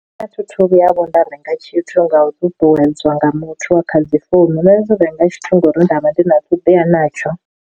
A thithu vhuya vho nda renga tshithu nga u ṱuṱuwedzwa nga muthu kha dzi founu na dzi renga tshithu ngori nda vha ndi na ṱhoḓea natsho.